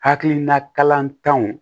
Hakilina kalanw